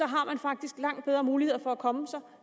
har man faktisk langt bedre muligheder for at komme sig